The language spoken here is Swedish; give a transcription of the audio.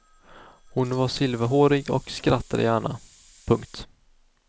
Hon var silverhårig och skrattade gärna. punkt